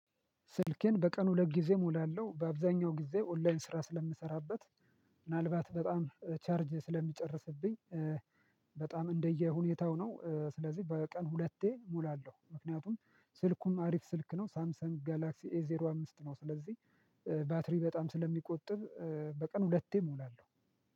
ስልኬን በቀን ሁለት ጊዜ እሞላለሁ። በአብዛኛው ጊዜ ኦንላይን ስራ ስለምሰራበት ምናልባት በጣም ቻርጅ ስለሚጨርስብኝ በጣም እንደየሁኔታው ነው ስለዚህ በቀን ሁለቴ እሞላለሁ ምክንያቱም ስልኩም አሪፍ ስልክ ነው ሳምሰንግ ጋላክሲ ኤዜሮ አምስት ነው ስለዚህ ባትሪ በጣም ስለሚቆጥብ በቀን ሁለቴ እሞላለሁ።